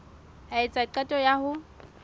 a etsa qeto ya ho